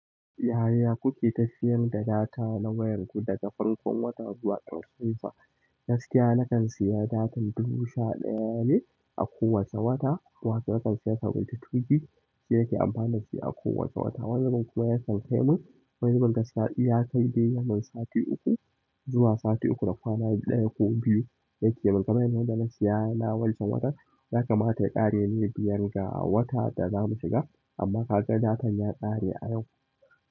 Yaya kuke tafiyar da data na wayar ku daga farkon wata zuwa karshensa? Gaskiya na kan siya data dubu sha ɗaya ne a kowace wata. Wata na kan siya sau biyu tweeting, shi nake amfani da shi a kowace wata. Wani bin kuma yakan kai mun, wani bin gaskiya in ya kai dai ya mun sati uku zuwa sati uku da kwana ɗaya ko biyu yake mun. Mai na wanda na siya na wancan watan yakamata ya ƙare ne biyar ga wata da zamu shiga. Amma kaga datan ya kare a yau.